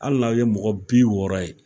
Hali n'aw ye mɔgɔ bi wɔɔrɔ ye